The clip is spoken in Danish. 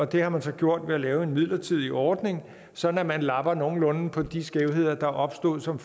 det har man så gjort ved at lave en midlertidig ordning sådan at man lapper nogenlunde på de skævheder der opstod som